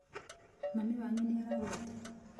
Mami wanyu nĩ aragwĩta.